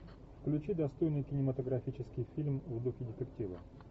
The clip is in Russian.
включи достойный кинематографический фильм в духе детектива